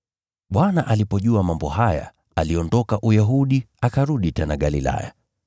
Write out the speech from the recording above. Bwana alipojua mambo haya, aliondoka Uyahudi akarudi tena Galilaya.